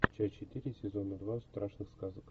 часть четыре сезона два страшных сказок